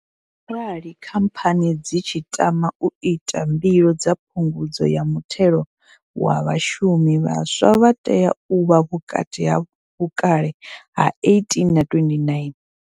Arali khamphani dzi tshi tama u ita mbilo dza phungudzo ya muthelo wa vhashumi, vhaswa vha tea u vha vhukati ha vhukale ha 18 na 29.